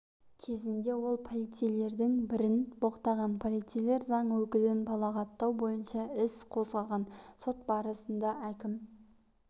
кезінде ол полицейлердің бірін боқтаған полицейлер заң өкілін балағаттау бойынша іс қозғаған сот барысында әкім